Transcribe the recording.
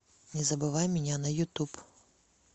не забывай меня на ютуб